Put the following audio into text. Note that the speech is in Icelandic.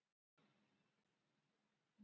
Hér er eingöngu um skemmtiefni að ræða.